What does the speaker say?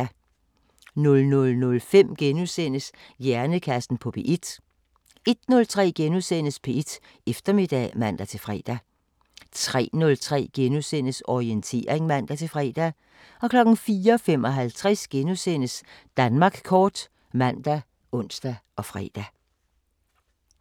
00:05: Hjernekassen på P1 * 01:03: P1 Eftermiddag *(man-fre) 03:03: Orientering *(man-fre) 04:55: Danmark kort *( man, ons, fre)